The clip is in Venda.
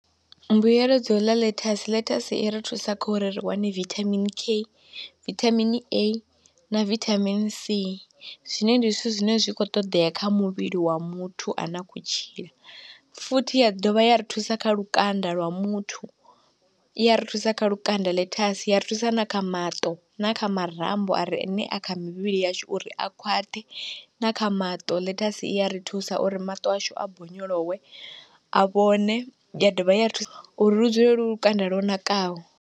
Mbuyelo dza u ḽa ḽethasi, ḽethasi i ri thusa kha uri ri wane vithamini K, vithamini A, na vithamini C zwine ndi zwithu zwine zwi khou ṱoḓea kha muvhili wa muthu a ne a khou tshila, futhi ya dovha ya ri thusa kha lukanda lwa muthu, i ya ri thusa kha lukanda ḽethasi, ya ri thusa na kha maṱo, na kha marambo are ne a kha mivhili yashu uri a khwaṱhe, na kha maṱo ḽethasi i ya ri thusa uri maṱo ashu a bonyolowe a vhone, ya dovha ya ri thusa uri lu dzule lu lukanda lwo nakaho.